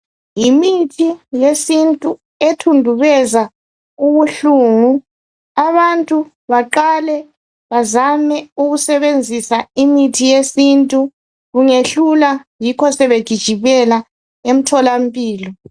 Yimithi yesintu ethundubeza ubuhlungu, abantu baqale bazame ukusebenzisa imithi yesintu kungehlula yikho sebegijimela emtholampilo.